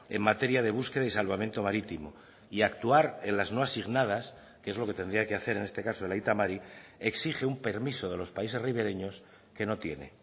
en materia de búsqueda y salvamento marítimo y actuar en las no asignadas que es lo que tendría que hacer en este caso el aita mari exige un permiso de los países ribereños que no tiene